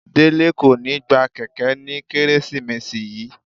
Dele ko ni gba kẹkẹ ni Keresimesi yii.